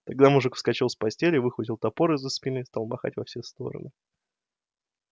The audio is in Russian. тогда мужик вскочил с постели выхватил топор из-за спины и стал махать во все стороны